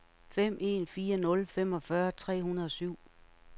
fem en fire nul femogfyrre tre hundrede og syv